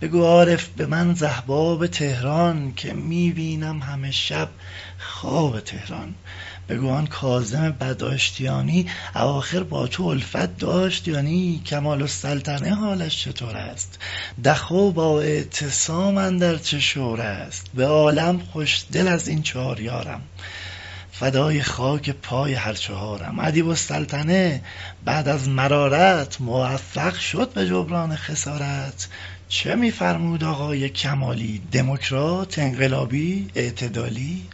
بگو عارف به من ز احباب طهران که می بینم همه شب خواب طهران بگو آن کاظم بد آشتیانی اواخر با تو الفت داشت یا نی کمال السلطنه حالش چطور است دخو با اعتصام اندر چه شور است به عالم خوش دل از این چار یارم فدای خاک پای هر چهارم ادیب السلطنه بعد از مرارات موفق شد به جبران خسارات چه می فرمود آقای کمالی دمکرات انقلابی اعتدالی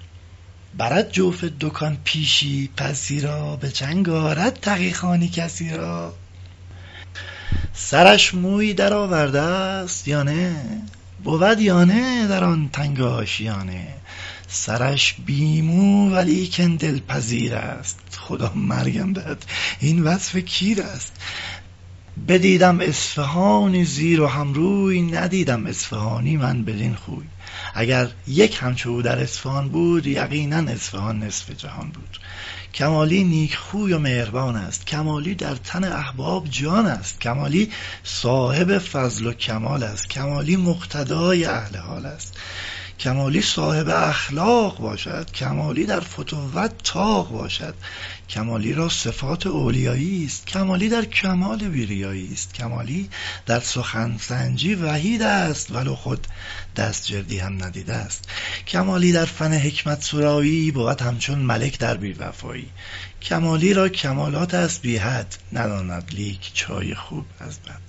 برد جوف دکان پیشی پسی را به چنگ آرد تقی خانی کسی را سرش مویی در آوردست یا نه بود یا نه در آن تنگ آشیانه سرش بی مو ولیکن دلپذیر است خدا مرگم دهد این وصف کیر است بدیدم اصفهانی زیر و هم روی ندیدم اصفهانی من بدین خوی اگر یک همچو او در اصفهان بود یقینا اصفهان نصف جهان بود کمالی نیکخوی و مهربانست کمالی در تن احباب جانست کمالی صاحب فضل و کمالست کمالی مقتدای اهل حالست کمالی صاحب اخلاق باشد کمالی در فتوت طاق باشد کمالی را صفات اولیاییست کمالی در کمال بی ریاییست کمالی در سخن سنجی وحیدست ولو خود دستجردی هم ندیدست کمالی در فن حکمت سرایی بود همچون ملک در بیوفایی کمالی را کمالات است بی حد نداند لیک چای خوب از بد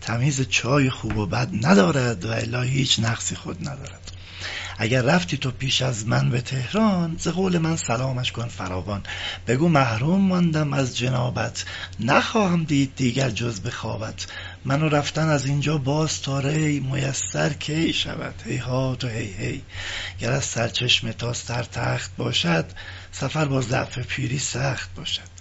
تمیز چای خوب و بد ندارد و الا هیچ نقصی خود ندارد اگر رفتی تو پیش از من به طهران ز قول من سلامش کن فراوان بگو محروم ماندم از جنابت نخواهم دید دیگر جز به خوابت من و رفتن از اینجا باز تا ری میسر کی شود هیهات و هی هی گر از سرچشمه تا سر تخت باشد سفر با ضعف پیری سخت باشد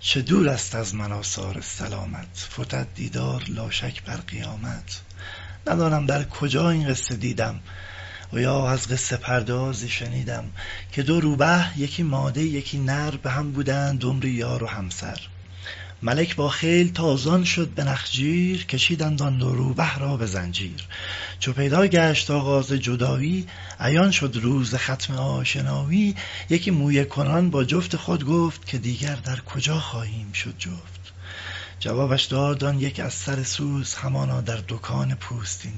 چو دورست از من آثار سلامت فتد دیدار لا شک بر قیامت ندانم در کجا این قصه دیدم و یا از قصه پردازی شنیدم که دو روبه یکی ماده یکی نر به هم بودند عمری یار و همسر ملک با خیل تازان شد به نخجیر کشیدند آن دو روبه را به زنجیر چو پیدا گشت آغاز جدایی عیان شد روز ختم آشنایی یکی مویه کنان با جفت خود گفت که دیگر در کجا خواهیم شد جفت جوابش داد آن یک از سر سوز همانا در دکان پوستین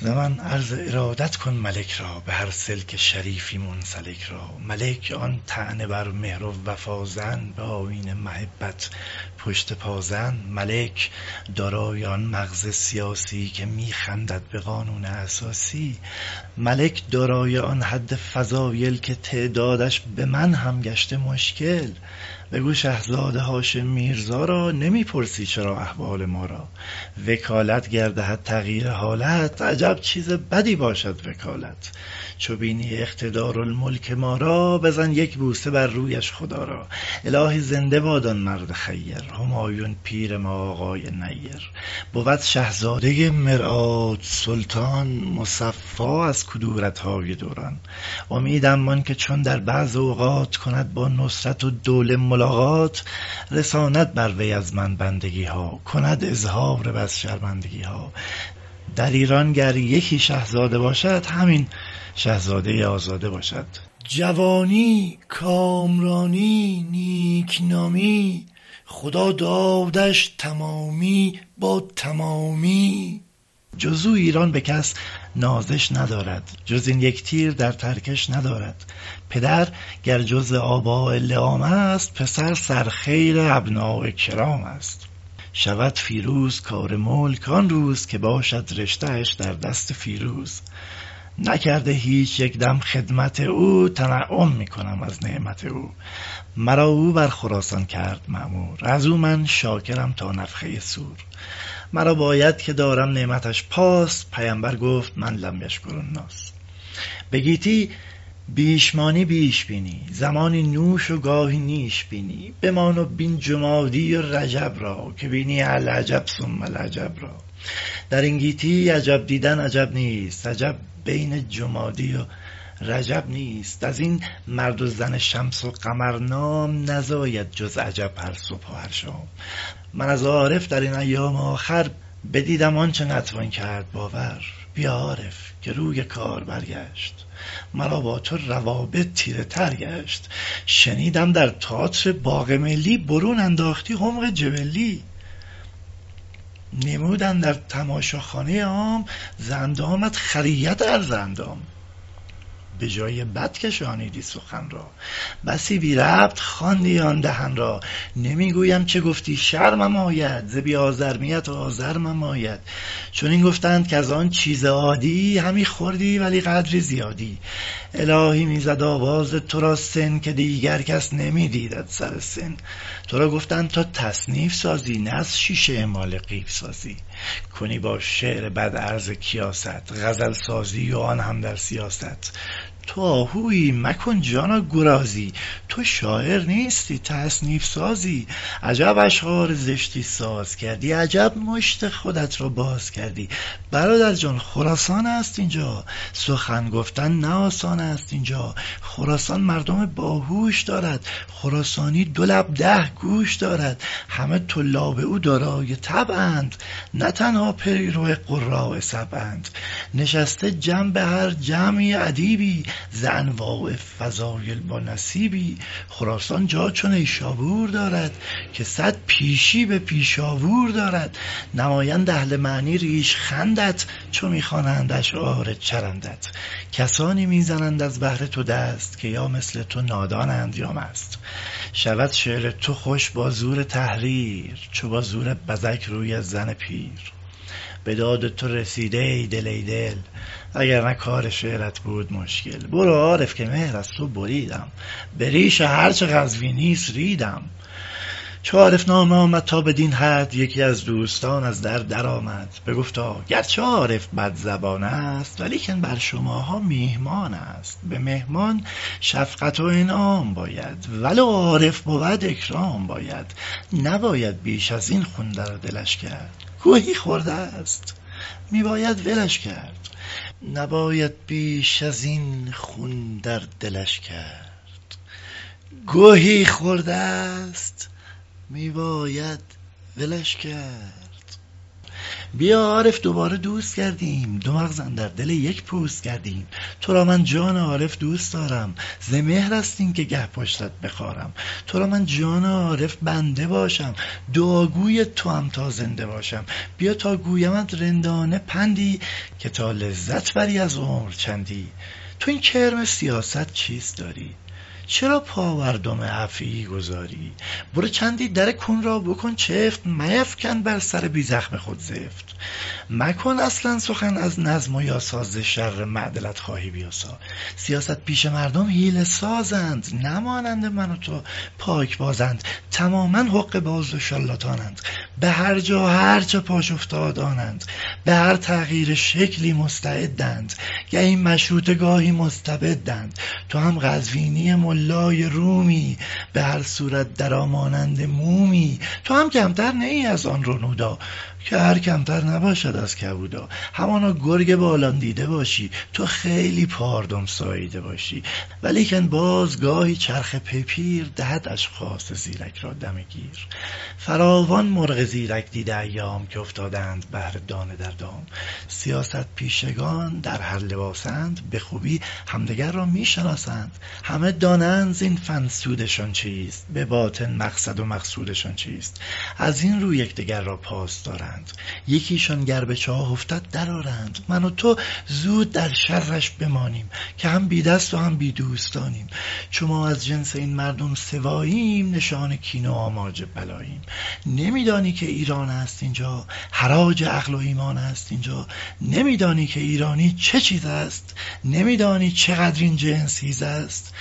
دوز ز من عرض ارادت کن ملک را به هر سلک شریفی منسلک را ملک آن طعنه بر مهر و وفا زن به آیین محبت پشت پا زن ملک دارای آن مغز سیاسی که می خندد به قانون اساسی ملک دارای آن حد فضایل که تعدادش به من هم گشته مشکل بگو شهزاده هاشم میرزا را نمی پرسی چرا احوال ما را وکالت گر دهد تغییر حالت عجب چیز بدی باشد وکالت چو بینی اقتدارالملک ما را بزن یک بوسه بر رویش خدا را الهی زنده باد آن مرد خیر همایون پیر ما آقای نیر بود شهزادۀ مرآت سلطان مصفا از کدورت های دوران امیدم آن که چون در بعض اوقات کند با نصرت الدوله ملاقات رساند بر وی از من بندگی ها کند اظهار بس شرمندگی ها در ایران گر یکی شهزاده باشد همین شهزادۀ آزاده باشد جوانی کامرانی نیک نامی خدا دادش تمامی با تمامی جز او ایران به کس نازش ندارد جز این یک تیر در ترکش ندارد پدر گر جزء آباء لیام است پسر سرخیل ابناء کرام است شود فیروز کار ملک آن روز که باشد رشته اش در دست فیروز نکرده هیچ یکدم خدمت او تنعم می کنم از نعمت او مرا او بر خراسان کرد مامور از او من شاکرم تا نفخه صور مرا باید که دارم نعمتش پاس پیمبر گفت من لم یشکر الناس به گیتی بیش مانی بیش بینی زمانی نوش و گاهی نیش بینی بمان و بین جمادی و رجب را که بینی العجب ثم العجب را در این گیتی عجب دیدن عجب نیست عجب بین جمادی و رجب نیست از این مرد و زن شمس و قمر نام نزاید جز عجب هر صبح و هر شام من از عارف در این ایام آخر بدیدم آنچه نتوان کرد باور بیا عارف که روی کار برگشت ورا با تو روابط تیره تر گشت شنیدم در تیاتر باغ ملی برون انداختی حمق جبلی نمود اندر تماشاخانه عام ز اندامت خریت عرض اندام به جای بد کشانیدی سخن را بسی بی ربط چرخاندی دهن را نمی گویم چه گفتی شرمم آید ز بی آزرمیت آزرمم آید چنین گفتند کز آن چیز عادی همی خوردی ولی قدری زیادی الهی می زد آواز ترا سن که دیگر کس نمی دیدت سر سن تو را گفتند تا تصنیف سازی نه از شیشه ی اماله قیف سازی کنی با شعر بد عرض کیاست غزل سازی و آن هم در سیاست تو آهویی مکن جانا گرازی تو شاعر نیستی تصنیف سازی عجب اشعار زشتی ساز کردی عجب مشت خودت را باز کردی برادر جان خراسانست اینجا سخن گفتن نه آسان است اینجا خراسان مردم باهوش دارد خراسانی دو لب ده گوش دارد همه طلاب او دارای طبعند نه تنها پیرو قراء سبعند نشسته جنب هر جمعی ادیبی ز انواع فضایل بانصیبی خراسان جا چو نیشابور دارد که صد پیشی به پیشاوور دارد نمایند اهل معنی ریشخندت چو می خوانند اشعار چرندت کسانی می زنند از بهر تو دست که مانند تو نادانند یا مست شود شعر تو خوش با زور تحریر چو با زور بزک روی زن پیر به داد تو رسیده ای دل ای دل وگرنه کار شعرت بود مشکل برو عارف که مهر از تو بریدم به ریش هر چه قزوینی ست ریدم چو عارف نامه آمد تا بدین حد یکی از دوستان از در درآمد بگفتا گرچه عارف بدزبان است ولیکن بر شماها میهمان است به مهمان شفقت و انعام باید ولو عارف بود اکرام باید نباید بیش از این خون در دلش کرد گهی خوردست می باید ولش کرد بیا عارف دوباره دوست گردیم دو مغز اندر دل یک پوست گردیم تو را من جان عارف دوست دارم ز مهرست این که گه پشتت بخارم ترا من جان عارف بنده باشم دعاگوی تو ام تا زنده باشم بیا تا گویمت رندانه پندی که تا لذت بری از عمر چندی تو این کرم سیاست چیست داری چرا پا بر دم افعی گذاری برو چندی در کون را بکن چفت میفکن بر سر بی زخم خود زفت مکن اصلا سخن از نظم و یاسا ز شر معدلت خواهی بیاسا سیاست پیشه مردم حیله سازند نه مانند من و تو پاکبازند تماما حقه باز و شارلاتانند به هر جا هر چه پاش افتاد آنند به هر تغییر شکلی مستعدند گهی مشروطه گاهی مستبدند تو هم قزوینی ملای رومی به هر صورت در آ مانند مومی تو هم کمتر نه ای از آن رنودا کهر کمتر نباشد از کبودا همانا گرگ باران دیده باشی تو خیلی پاردم ساییده باشی ولیکن باز گاهی چرخ بی پیر دهد اشخاص زیرک را دم گیر فراوان مرغ زیرک دیده ایام که افتادند بهر دانه در دام سیاست پیشگان در هر لباسند به خوبی همدگر را می شناسند همه دانند زین فن سودشان چیست به باطن مقصد و مقصودشان چیست از این رو یکدگر را پاس دارند یکیشان گر به چاه افتد در آرند من و تو زود در شرش بمانیم که هم بی دست و هم بی دوستانیم چو ما از جنس این مردم سواییم نشان کین و آماج بلاییم نمی دانی که ایران است اینجا حراج عقل و ایمان است اینجا نمی دانی که ایرانی چه چیزست نمی دانی چقدر این جنس هیزست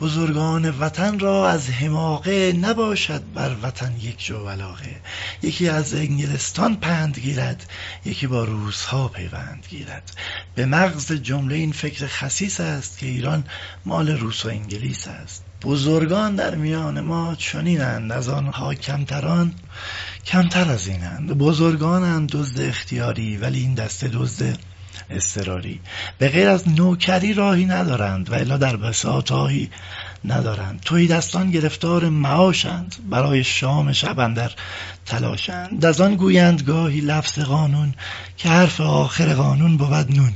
بزرگان وطن را از حماقه نباشد بر وطن یک جو علاقه یکی از انگلستان پند گیرد یکی با روس ها پیوند گیرد به مغز جمله این فکر خسیس است که ایران مال روس و انگلیس است بزرگان در میان ما چنیند از آنها کمتران کمتر از اینند بزرگانند دزد اختیاری ولی این دسته دزد اضطراری به غیر از نوکری راهی ندارند و الا در بساط آهی ندارند تهی دستان گرفتار معاشند برای شام شب اندر تلاشند از آن گویند گاهی لفظ قانون که حرف آخر قانون بود نون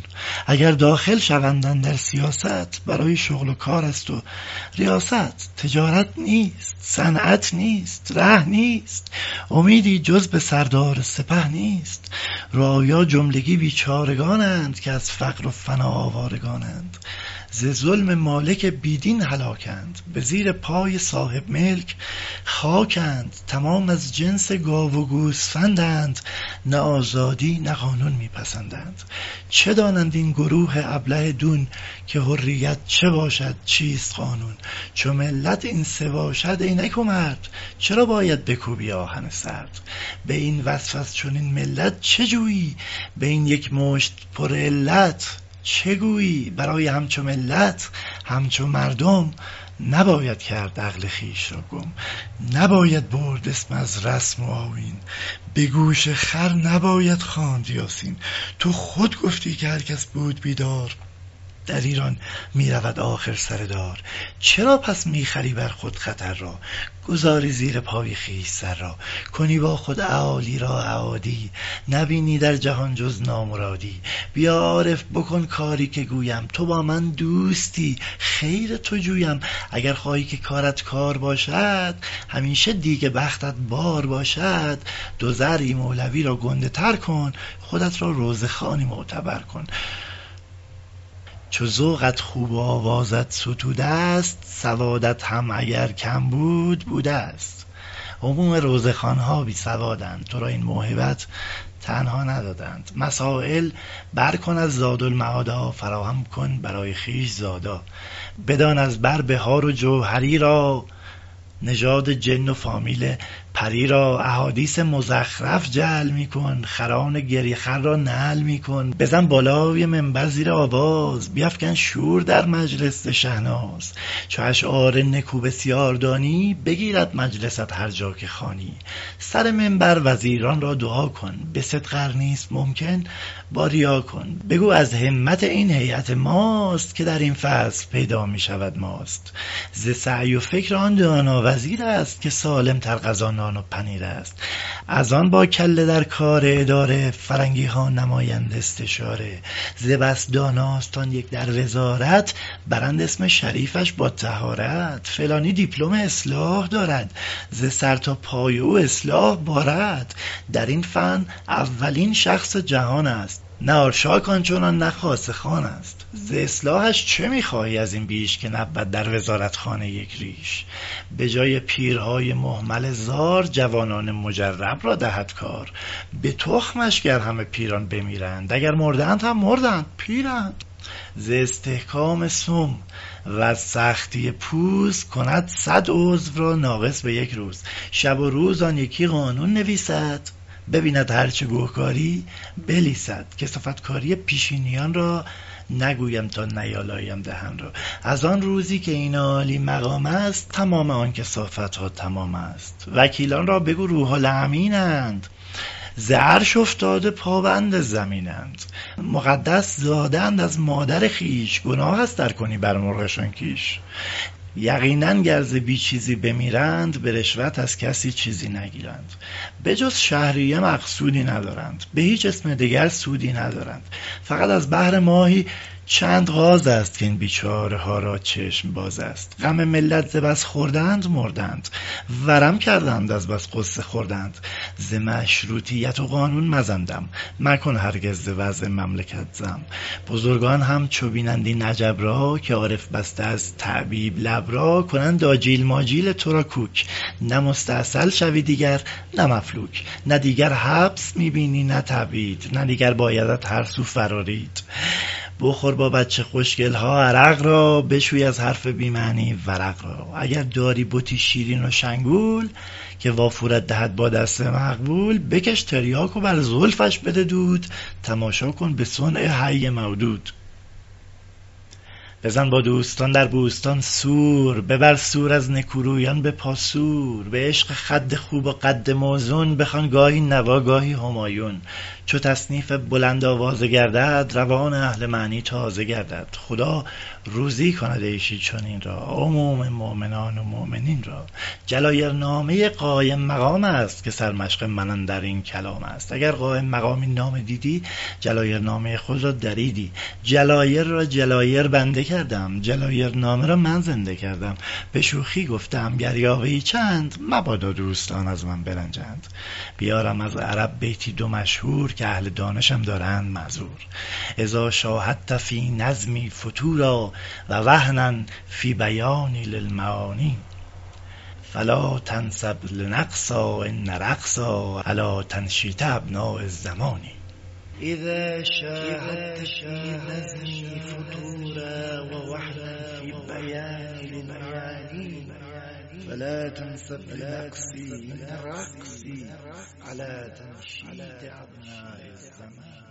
اگر داخل شوند اندر سیاست برای شغل و کار است و ریاست تجارت نیست صنعت نیست ره نیست امیدی جز به سردار سپه نیست رعایا جملگی بیچارگانند که از فقر و فنا آوارگانند ز ظلم مالک بی دین هلاکند به زیر پای صاحب ملک خاکند تمام از جنس گاو و گوسفندند نه آزادی نه قانون می پسندند چه دانند این گروه ابله دون که حریت چه باشد چیست قانون چو ملت این سه باشند ای نکومرد چرا باید بکوبی آهن سرد به این وصف از چنین ملت چه جویی به این یک مشت پرعلت چه گویی برای همچو ملت همچو مردم نباید کرد عقل خویش را گم نباید برد اسم از رسم و آیین به گوش خر نباید خواند یاسین تو خود گفتی که هر کس بود بیدار در ایران می رود آخر سر دار چرا پس می خری بر خود خطر را گذاری زیر پای خویش سر را کنی با خود اعالی را اعادی نبینی در جهان جز نامرادی بیا عارف بکن کاری که گویم تو با من دوستی خیر تو جویم اگر خواهی که کارت کار باشد همیشه دیگ بختت بار باشد دو ذرعی مولوی را گنده تر کن خودت را روضه خوانی معتبر کن چو ذوقت خوب و آوازت ستوده ست سوادت هم اگر کم بود بودست عموم روضه خوان ها بی سوادند تو را این موهبت تنها ندادند مسایل کن بر از زادالمعادا فراهم کن برای خویش زادا بدان از بر بحار و جوهری را نژاد جن و فامیل پری را احادیث مزخرف جعل می کن خران گریه خر را نعل می کن بزن بالای منبر زیر آواز بیفکن شور در مجلس ز شهناز چو اشعار نکو بسیار دانی بگیرد مجلست هر جا که خوانی سر منبر وزیران را دعا کن به صدق ار نیست ممکن با ریا کن بگو از همت این هیأت ماست که در این فصل پیدا می شود ماست ز سعی و فکر آن دانا و زیرست که سالم تر غذا نان و پنیرست از آن با کله در کار اداره فرنگی ها نمایند استعاره ز بس داناست آن یک در وزارت برند اسم شریفش با طهارت فلان یک دیپلم اصلاح دارد ز سر تا پای او اصلاح بارد در این فن اولین شخص جهانست نه آرشاک آنچنان نه خاصه خانست ز اصلاحش چه می خواهی از این بیش که نبود در وزارتخانه یک ریش به جای پیرهای مهمل زار جوانان مجرب را دهد کار به تخمش گر همه پیران بمیرند اگر مردند هم مردند پیرند ز استحکام سم وز سختی پوز کند صد عضو را ناقص به یک روز شب و روز آن یکی قانون نویسد ببیند هر چه گه کاری بلیسد کثافتکاری پیشینیان را نگویم تا نیالایم دهان را از آن روزی که این عالی مقامست تمام آن کثافت ها تمامست وکیلان را بگو روح الامینند ز عرش افتاده پابند زمینند مقدس زاده اند از مادر خویش گناهست ار کنی مرغانشان کیش یقینا گر ز بی چیزی بمیرند به رشوت از کسی چیزی نگیرند به جز شهریه مقصودی ندارند به هیچ اسم دگر سودی ندارند فقط از بهر ماهی چند غاز است که این بیچاره ها را چشم باز است غم ملت ز بس خوردند مردند ورم کردند از بس غصه خوردند ز مشروطیت و قانون مزن دم مکن هرگز ز وضع مملکت ذم بزرگان چون ببینند این عجب را که عارف بسته از تعییب لب را کنند آجیل و ماجیل تو را کوک نه مستأصل شوی دیگر نه مفلوک نه دیگر حبس می بینی نه تبعید نه دیگر بایدت هر سو فرارید بخور با بچه خوشگل ها عرق را بشوی از حرف بی معنی ورق را اگر داری بتی شیرین و شنگول که وافورت دهد با دست مقبول بکش تریاک و بر زلفش بده دود تماشا کن به صنع حی مودود بزن با دوستان در بوستان سور ببر سور از نکورویان پاسور به عشق خد خوب و قد موزون بخوان گاهی نوا گاهی همایون چو تصنیفت بلند آوازه گردد روان اهل معنا تازه گردد خدا روزی کند عیشی چنین را عموم مؤمنات و مؤمنین را جلایرنامۀ قایم مقامست که سرمشق من اندر این کلامست اگر قایم مقام این نامه دیدی جلایرنامۀ خود را دریدی جلایر را جلایر بنده کردم جلایرنامه را من زنده کردم به شوخی گفته ام گر یاوه ای چند مبادا دوستان از من برنجند بیارم از عرب بیتی دو مشهور که اهل دانشم دارند معذور اذا شاهدت فی نظمی فتورا و وهنا فی بیانی للمعانی فلا تنسب لنقصی ان رقصی علی تنشیط ابناء الزمان